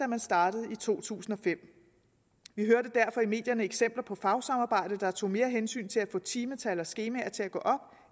man startede i to tusind og fem vi hørte derfor i medierne om eksempler på fagsamarbejdet der tog mere hensyn til at få timetal og skemaer til at gå op